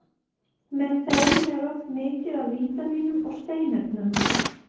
Með þeim er oft mikið af vítamínum og steinefnum.